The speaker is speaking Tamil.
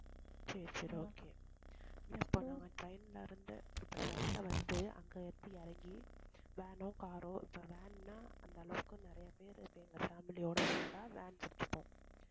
சரி, சரி okay இப்ப train ல இருந்து, அந்த train ல வந்து, அங்க இருந்து இறங்கி, van ஓ car ஓ, இப்ப van னா, அந்த அளவுக்கு நிறைய பேர், இப்ப எங்க family யோட வந்தா van புடிச்சுப்போம்